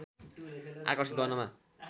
आकर्षित गर्नमा